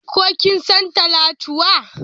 Ko kin san Talatuwa?